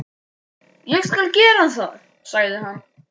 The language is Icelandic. Ég skal gera það, sagði hann.